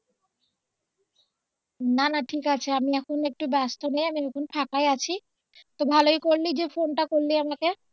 না না ঠিক আছে আমি এখন একটু ব্যস্ত নেই আমি এখন ফাঁকাই আছি তো ভালোই করলে যে ফোনটা করলে আমাকে